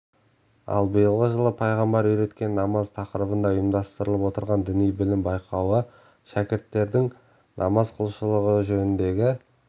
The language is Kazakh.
ал биылғы жылы пайғамбар үйреткен намаз тақырыбында ұйымдастырылып отырған діни білім байқауы шәкірттердің намаз құлшылығы жөніндегі